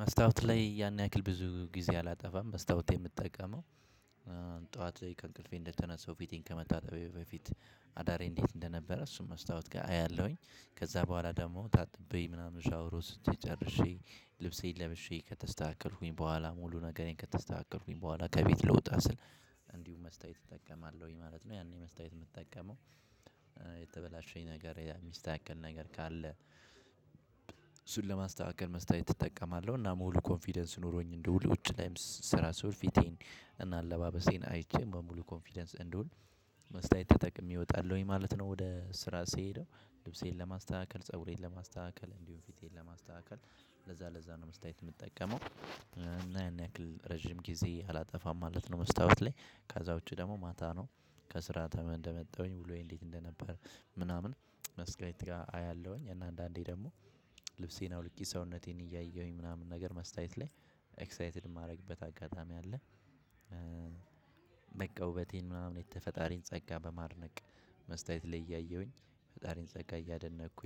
መስታወት ላይ ያን ያክል ብዙ ጊዜ አላጠፋም መስታወት የምጠቀመው እ ጠዋት ከእንቅልፌ እንደተነሳው ፊቴን ከመታጠቤ በፊት አዳሬ እንዴት እንደነበረ እሱን መስታወት ጋር አያለሁኝ ከዛ በኋላ ደግሞ ታጥቤ ምናምን ሻወር ውስጥ ጨርሼ ልብሴን ለብሼ ከተስተካከልኩኝ በኋላ ሙሉ ነገሬን ከተስተካከልኩኝ በኋላ ከቤት ለወጣ ስል እንዲሁ መስተያየት እጠቀማለሁኝ ማለት ነው። ያኔ መስተያየት የምጠቀመው የተበላሸኝ ነገር የሚስተካከል ነገር ካለ። ለማስተካከል መስተያየት እጠቀማለሁ እና ሙሉ ኮንፊደንስ ኖሮኝ እንድውል ውጭ ላይም ስራ ስውል ፊቴን እና አለባበሴን አይቼ በሙሉ ኮንፊደንስ እንድውል መስታየት ተጠቅሜ እወጣለሁኝ ማለት ነው። ወደ ስራ ስሄድም ልብሴን ለማስተካከል ፀጉሬን ለማስተካከል እንዲሁም ፊቴን ለማስተካከል ለዛ ለዛ ነው መስተያየት የምጠቀመው እና ያን ያክል ረጅም ጊዜ አላጠፋም ማለት ነው። መስታወት ላይ ከዛ ውጪ ደግሞ ማታ ነው ከስራ ተመን እንደመጣሁኝ ውሎዬ እንዴት እንደነበር ምናምን መስተያየት ጋር አያለሁኝ እና አንዳንዴ ደግሞ ልብሴን አውልቂ ሰውነቴን እያየሁኝ ምናምን ነገር መስተያየት ላይ ኤክሳይትድ የማደርግበት አጋጣሚ አለ። እ በቃ ውበቴን ምናምን የፈጣሪን ጸጋ በማድነቅ መስተያየት ላይ እያየሁኝ የፈጣሪን ጸጋ እያደነኩ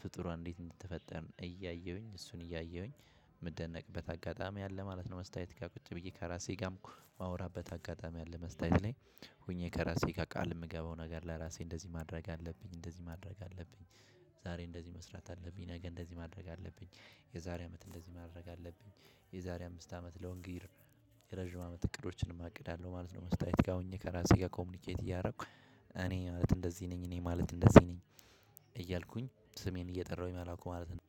ፍጡራን እንዴት እንደተፈጠርን እያየሁኝ እሱን እያየሁኝ የምደነቅበት አጋጣሚ አለ ማለት ነው። መስተያየትጋር ቁጭ ብዬ ከራሴ ጋም የማወራበት አጋጣሚ አለ መስተያየት ላይ። ሆኜ ከራሴ ጋር ቃል የምገባው ነገር ለራሴ እንደዚህ ማድረግ አለብኝ እንደዚህ ማድረግ አለብኝ። ዛሬ እንደዚህ መስራት አለብኝ ነገ እንደዚህ ማድረግ አለብኝ የዛሬ አመት እንደዚህ ማድረግ አለብኝ የዛሬ አምስት አመት ሎንግ ረዥም አመት እቅዶችንም አቅዳለሁ ማለት ነው። መስታየት ጋር ሆኜ ከራሴ ጋር ኮሚኒኬት እያደረኩ እኔ ማለት እንደዚህ ነኝ እኔ ማለት እንደዚህ ነኝ እያልኩኝ ስሜን እየጠራሁኝ ማላውቀው ማለት ነው።